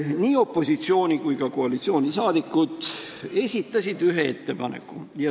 Nii opositsiooni- kui ka koalitsioonisaadikud on esitanud ühe ettepaneku.